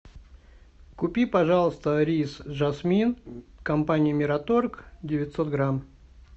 купи пожалуйста рис жасмин компании мираторг девятьсот грамм